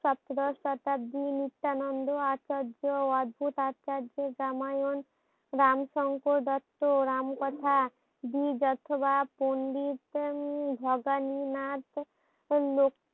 সপ্তদশ শতাব্দী নিত্যনন্দ আচার্য অধভুত আচার্য রামায়ণ রামসনক দত্ত রাম কথা বীজ অথবা পন্ডিত উম ভবানী নাথ লোক